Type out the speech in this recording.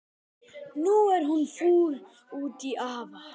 Nú er hún fúl út í afa.